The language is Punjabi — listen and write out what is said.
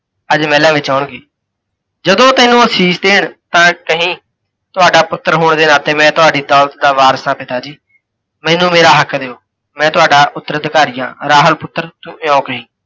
ਅੱਜ ਮਹਿਲਾਂ ਵਿੱਚ ਆਉਣਗੇ। ਜਦੋਂ ਤੈਨੂੰ ਅਸੀਸ ਦੇਣ ਤਾਂ ਕਹੀਂ, ਤੁਹਾਡਾ ਪੁਤੱਰ ਹੋਣ ਦੇ ਨਾਤੇ ਮੈਂ ਤੁਹਾਡੀ ਦੌਲਤ ਦਾ ਵਾਰਿਸ ਹਾਂ ਪਿਤਾ ਜੀ, ਮੈਨੂੰ ਮੇਰਾ ਹੱਕ ਦਿਓ, ਮੈਂ ਤੁਹਾਡਾ ਉਤੱਰਅਧੀਕਾਰੀ ਹਾਂ, ਰਾਹੁਲ ਪੁਤੱਰ ਤੂੰ ਇਹੋ ਕਹੀਂ।